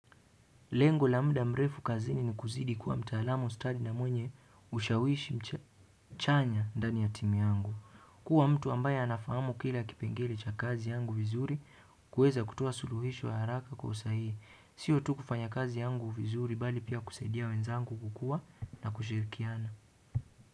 Lengo la muda mrefu kazini ni kuzidi kuwa mtaalamu stadi na mwenye ushawishi chanya ndani ya timu yangu. Kuwa mtu ambaye anafahamu kila kipengele cha kazi yangu vizuri kuweza kutoa suluhisho ya haraka kwa usahihi. Sio tu kufanya kazi yangu vizuri bali pia kusaidia wenzangu kukua na kushirikiana.